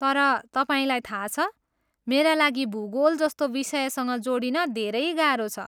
तर तपाईँलाई थाहा छ, मेरा लागि भूगोल जस्तो विषयसँग जोडिन धेरै गाह्रो छ।